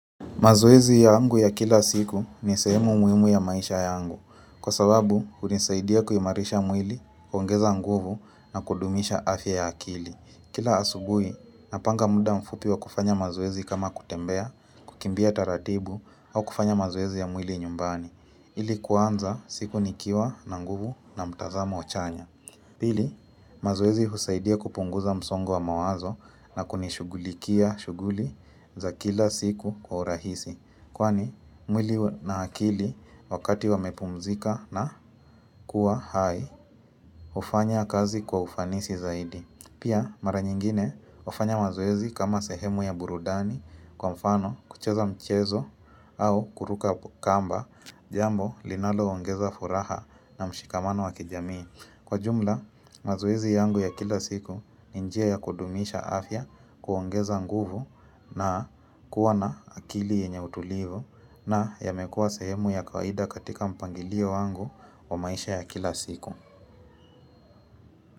Mazoezi yangu ya kila siku ni sehemu muhimu ya maisha yangu. Kwa sababu, hunisaidia kuimarisha mwili, kuongeza nguvu na kudumisha afya ya akili. Kila asubui, napanga muda mfupi wa kufanya mazoezi kama kutembea, kukimbia taratibu, au kufanya mazoezi ya mwili nyumbani. Ili kuanza siku nikiwa na nguvu na mtazamo chanya. Pili, mazoezi husaidia kupunguza msongo wa mawazo na kunishughulikia shughuli za kila siku kwa urahisi. Kwani, mwili na akili wakati wamepumzika na kuwa hai, hufanya kazi kwa ufanisi zaidi. Pia, mara nyingine hufanya mazoezi kama sehemu ya burudani kwa mfano kucheza mchezo au kuruka kamba jambo linaloongeza furaha na mshikamano wa kijamii. Kwa jumla, mazoezi yangu ya kila siku ni njia ya kudumisha afya kuongeza nguvu na kuwa na akili yenye utulivu na yamekua sehemu ya kawaida katika mpangilio wangu wa maisha ya kila siku.